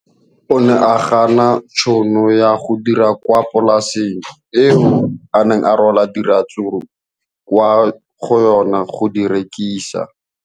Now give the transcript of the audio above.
O ne a gana tšhono ya go dira kwa polaseng eo a neng rwala diratsuru kwa go yona go di rekisa.